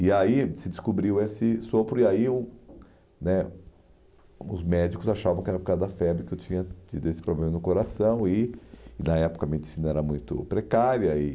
E aí se descobriu esse sopro e aí o né os médicos achavam que era por causa da febre que eu tinha tido esse problema no coração e e na época a medicina era muito precária. E